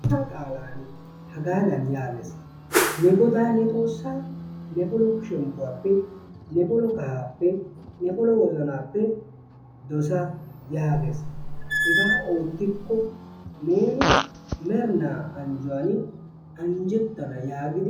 Xoossaa qaalay hagaadan yaagees. Ne godaa ne xoossa ne polo shemppuwappe, ne polo kahaappe, ne polo wozzannaappe dosa yaagees. Hegaa oottikko neeni merinnaa anjjuwan anjjettana yaagees yaagid